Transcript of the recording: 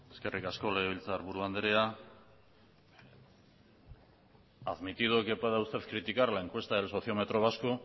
eskerrik asko legebiltzarburu anderea admitido que pueda usted criticar la encuesta del sociómetro vasco